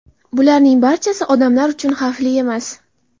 Bularning barchasi odamlar uchun xavfli emas.